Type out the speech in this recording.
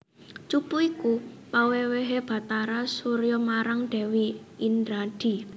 Cupu iku pawèwèhé Bathara Surya marang Dèwi Indradi